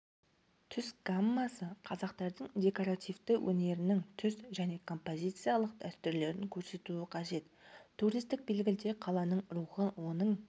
түс гаммасы қазақтардың декоративті өнерінің түс және композициялық дәстүрлерін көрсетуі қажет туристік белгіде қаланың рухын оның